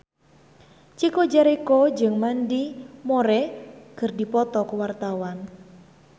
Chico Jericho jeung Mandy Moore keur dipoto ku wartawan